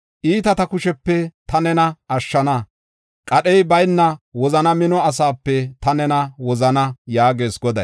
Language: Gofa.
Iitata kushepe ta nena ashshana; qadhey bayna wozana mino asaape ta nena wozana” yaagees Goday.